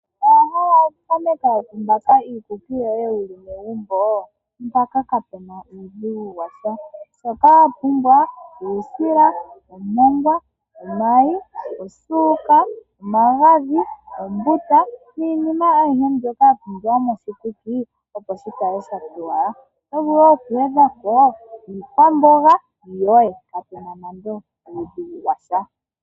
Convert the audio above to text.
Owa hala oku tameka, oku mbaaka iikuki yoye wuli megumbo? Mpaka kapuna uudhigu washa. Shoka wa pumbwa uusila, omongwa , omayi, osuuka , omagadhi, ombuta niinima aihe mbyoka ya pumbiwa mokushikuki opo shikale shatowala. Oto vulu wo oku gwedha po iikwamboga yoye, kapuna nande omukundu gwasha